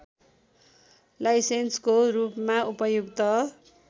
लाइसेन्सको रूपमा उपयुक्त